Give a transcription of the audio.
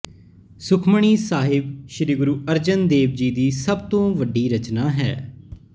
ਸੁਖਮਨੀ ਸਾਹਿਬ ਸ਼੍ਰੀ ਗੁਰੂ ਅਰਜਨ ਦੇਵ ਜੀ ਦੀ ਸਭ ਤੋਂ ਵੱਡੀ ਰਚਨਾ ਹੈ